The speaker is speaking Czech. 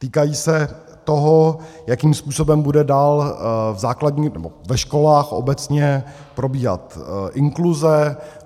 Týkají se toho, jakým způsobem bude dál ve školách obecně probíhat inkluze.